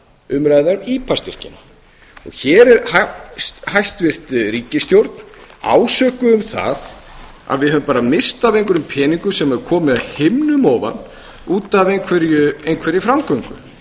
um ipa styrkina hér er hæstvirt ríkisstjórn ásökuð um það að við höfum bara misst af einhverjum peningum sem hafa komið af himnum ofan út af einhverri framgöngu